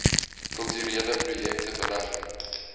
kulturele projekte belegging